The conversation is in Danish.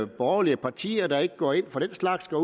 borgerlige partier der ikke går ind for den slags går